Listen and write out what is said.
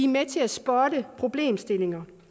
med til at spotte problemstillinger